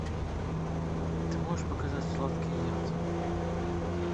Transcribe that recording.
ты можешь показать сладкий яд